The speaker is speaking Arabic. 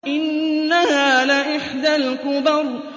إِنَّهَا لَإِحْدَى الْكُبَرِ